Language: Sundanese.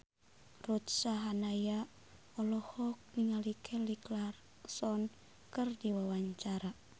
Ruth Sahanaya olohok ningali Kelly Clarkson keur diwawancara